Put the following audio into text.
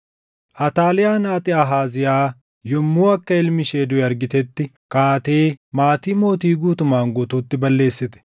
Ataaliyaan haati Ahaaziyaa yommuu akka ilmi ishee duʼe argitetti kaatee maatii mootii guutumaan guutuutti balleessite.